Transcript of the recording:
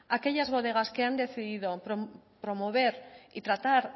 aquellas bodegas que han decidido promover y tratar